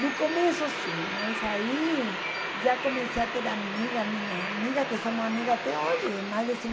No começo, sim, mas aí já comecei a ter amigas, minhas amigas, que somos amigas até hoje, mais de